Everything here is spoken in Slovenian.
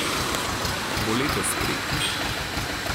Bo letos tretjič?